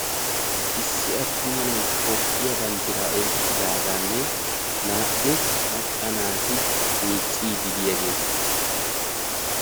Issi attuma nay toophiya banddira oyqqidaaganne naa"u macca naati miicciiddi diyaageeta.